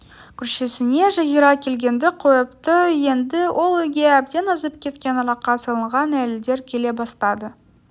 көршісіне жазира келгенді қойыпты енді ол үйге әбден азып кеткен араққа салынған әйелдер келе бастады